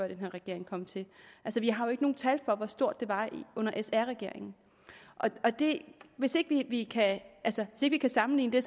den her regering kom til vi har jo ikke nogen tal for hvor stort det var under sr regeringen hvis vi ikke kan sammenligne